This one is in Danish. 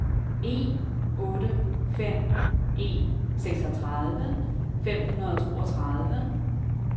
en otte fem en seksogtredive fem hundrede og toogtredive